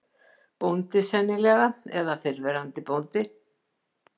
Bóndi, sennilega, eða fyrrverandi bóndi.